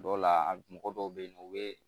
Dɔw la a mɔgɔ dɔw bɛ yen nɔ u bɛ